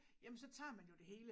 Jamen så tager man jo det hele